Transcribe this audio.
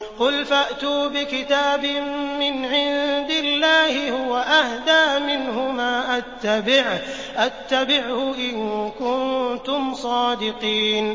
قُلْ فَأْتُوا بِكِتَابٍ مِّنْ عِندِ اللَّهِ هُوَ أَهْدَىٰ مِنْهُمَا أَتَّبِعْهُ إِن كُنتُمْ صَادِقِينَ